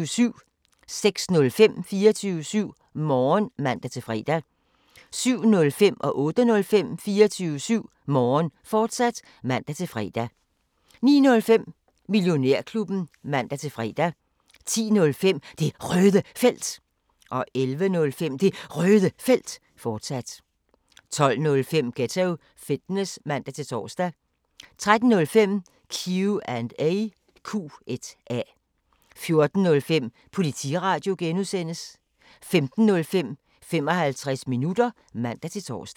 06:05: 24syv Morgen (man-fre) 07:05: 24syv Morgen, fortsat (man-fre) 08:05: 24syv Morgen, fortsat (man-fre) 09:05: Millionærklubben (man-fre) 10:05: Det Røde Felt 11:05: Det Røde Felt, fortsat 12:05: Ghetto Fitness (man-tor) 13:05: Q&A 14:05: Politiradio (G) 15:05: 55 minutter (man-tor)